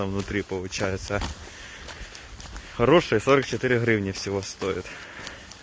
там внутри получается хорошая сорок четыре гривны всего стоит